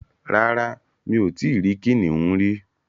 Rárá, Mi ò tí rí kìnìún rí